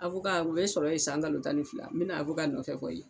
A o ye sɔrɔ ye san kalo tan ni fila, n bɛna nɔfɛ kɔni.